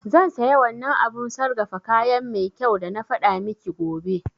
Zan saya wannan abun sargafa kayan mai kyau dana faɗa miki gobe